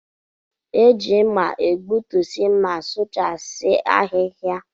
E ji mma egbutusi ma sụchasia ahịhịa.